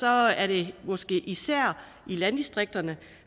er det måske især i landdistrikterne